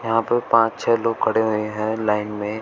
यहां पे पांच छे लोग खड़े हुए है लाइन में।